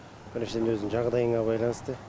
біріншіден өзіңнің жағдайыңа байланысты